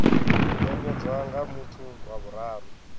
nekedzwa nga muthu wa vhuraru